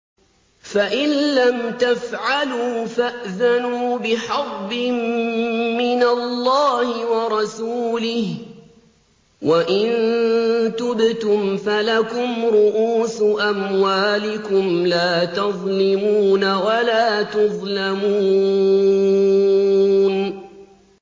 فَإِن لَّمْ تَفْعَلُوا فَأْذَنُوا بِحَرْبٍ مِّنَ اللَّهِ وَرَسُولِهِ ۖ وَإِن تُبْتُمْ فَلَكُمْ رُءُوسُ أَمْوَالِكُمْ لَا تَظْلِمُونَ وَلَا تُظْلَمُونَ